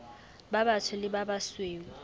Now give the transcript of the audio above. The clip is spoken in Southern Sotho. ba batsho le ba basweu